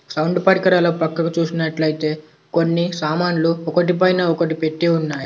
Sound పరికరాలు ఒక పక్కకు చూసినట్లయితే కొన్ని సామాన్లు ఒకటి పైన ఒకటి పెట్టి ఉన్నాయ్.